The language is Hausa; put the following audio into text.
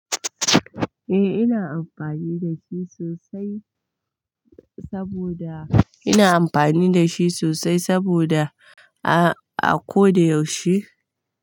Eh ina amfani da shi sosai saboda ina amfani da shi sosai saboda a ko da yaushe.